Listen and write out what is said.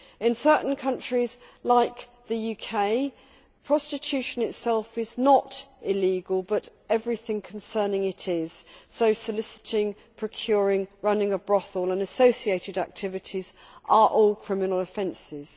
In certain countries like the UK, prostitution itself is not illegal, but everything concerning it is soliciting, procuring, running a brothel and associated activities are all criminal offences.